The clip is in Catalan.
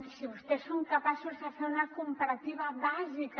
si vostès són capaços de fer una comparativa bàsica